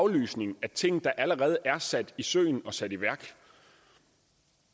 aflysning af ting der allerede er sat i søen og sat i værk